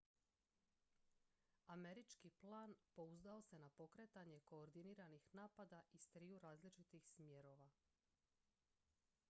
američki plan pouzdao se na pokretanje koordiniranih napada iz triju različitih smjerova